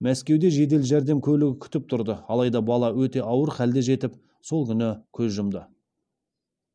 мәскеуде жедел жәрдем көлігі күтіп тұрды алайда бала өте ауыр халде жетіп сол күні көз жұмды